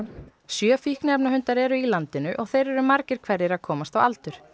sjö fíkniefnahundar eru í landinu og þeir eru margir hverjir að komast á aldur